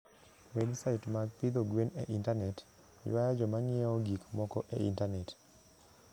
Websait mag pidho gwen e intanet, ywayo joma ng'iewo gik moko e intanet.